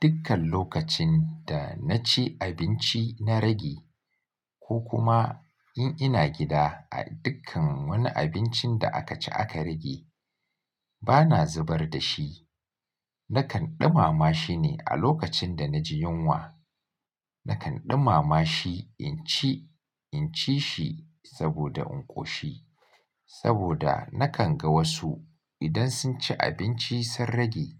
Dukkan lokacin da na ci abinci na rage ko kuma in ina gida a dukkan wani abincin da aka ci aka rage, bana zubar da shi. Nakan ɗumama shi ne a lokacin da na ji yunwa. Nakan ɗumama shi in ci, in ci shi saboda in ƙoshi. Saboda nakan ga wasu idan sun ci abinci sun rage,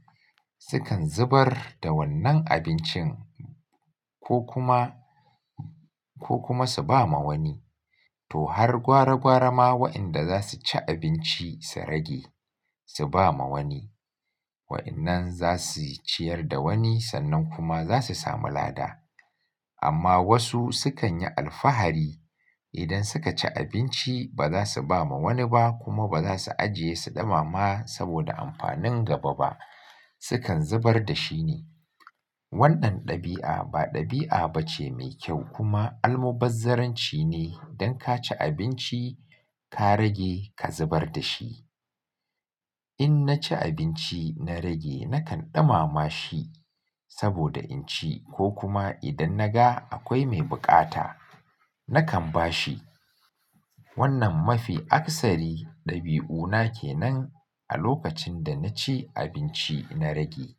sukan zubar da wannan abincin ko kuma, ko kuma su ba ma wani. To har gwara gwara ma waɗanda za su ci abinci su rage su ba ma wani. Waɗannan za su ciyar da wani sannan kuma za su sami lada. Amma wasu sukan yi alfahari idan suka ci abinci ba za su ba ma wani ba kuma ba za su ajiye su ɗumama saboda amfanin gaba ba, sukan zubar da shi ne. Wannan ɗabi'a ba ɗabi'a ba ce mai kyau kuma almubazzarranci ne dan ka ci abinci ka rage ka zubar da shi. In na ci abinci na rage nakan ɗumama shi saboda in ci ko kuma idan na ga akwai mai bukata nakan ba shi. Wannan mafi aksari ɗabi'una ke nan a lokacin da na ci abinci na rage.